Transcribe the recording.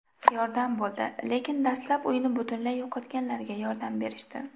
Yordam bo‘ldi, lekin dastlab uyini butunlay yo‘qotganlarga yordam berishdi”.